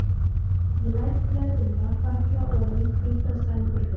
Ég læt blöðrurnar falla oní hvít sængurfötin.